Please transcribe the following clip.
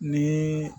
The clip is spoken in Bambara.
Ni